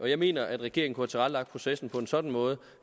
jeg mener at regeringen kunne have tilrettelagt processen på en sådan måde